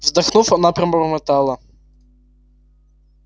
вздохнув она пробормотала